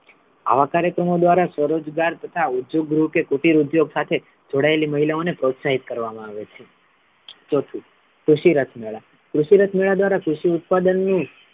આવા કાર્યક્રમો દ્વારા સ્વરોજગાર તથા ઉચ્ચગૃહ કે કુટિર ઉદ્યોગ સાથે જોડાયેલી મહિલાઓ ને પ્રોત્સાહિત કરવા મા આવે છે ચોથું, કૃષિરથ મેળા કૃષિરથ મેળા દ્વારા કૃષિ ઉત્પાદનનું,